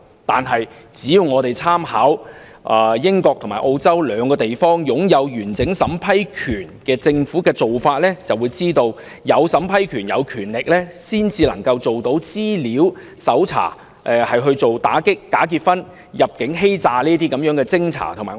但是，只要參考英國和澳洲這兩個擁有完整審批權的政府的做法，便知道只有擁有審批權，才能做到資料搜查，以偵查和打擊假結婚和入境欺詐等個案。